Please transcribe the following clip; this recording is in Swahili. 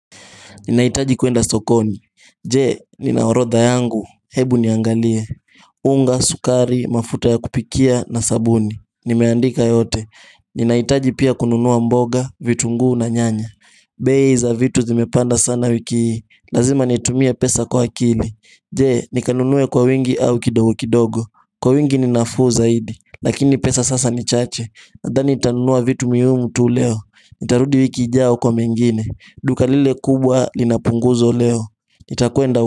Ninaitaji kwenda sokoni. Je, nina orodha yangu, ebu niangalie unga, sukari, mafuta ya kupikia na sabuni. Nimeandika yote ninaitaji pia kununua mboga, vitunguu na nyanya bei za vitu zimepanda sana wiki Lazima nitumie pesa kwa akili. Je, nikanunue kwa wingi au kidogo kidogo, kwa wingi ni nafuu zaidi, lakini pesa sasa ni chache nadhani nitanunua vitu muhimu tu leo. Nitarudi wiki ijayo kwa mengine. Duka lile kubwa lina punguzo leo nitakwenda.